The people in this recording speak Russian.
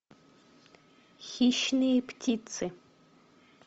хищные птицы